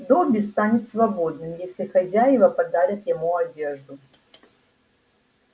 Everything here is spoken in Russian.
добби станет свободным если хозяева подарят ему одежду